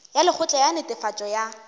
ya lekgotla la netefatšo ya